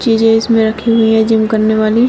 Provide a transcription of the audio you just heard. चीजे इसमें रखी हुई है जिम करने वाली--